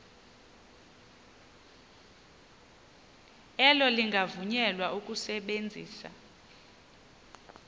elo lingavunyelwa ukusebenzisa